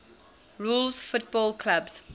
rules football clubs